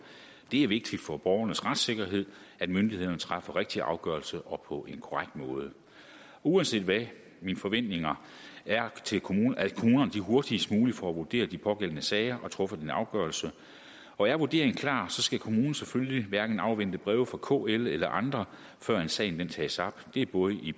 det er vigtigt for borgernes retssikkerhed at myndighederne træffer rigtig afgørelse og på en korrekt måde uanset hvad er mine forventninger til kommunerne at de hurtigst muligt får vurderet de pågældende sager og får truffet en afgørelse og er vurderingen klar skal kommunen selvfølgelig hverken afvente breve fra kl eller andre før sagen tages op det er både i